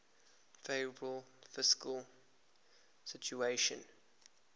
favourable fiscal situation